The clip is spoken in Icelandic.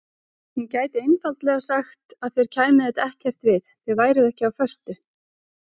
Hún gæti einfaldlega sagt að þér kæmi þetta ekkert við, þið væruð ekki á föstu.